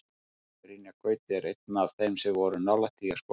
Brynjar Gauti var einn af þeim sem voru nálægt því að skora.